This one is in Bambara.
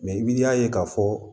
Mɛ i b'i ye k'a fɔ